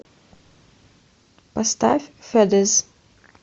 поставь федез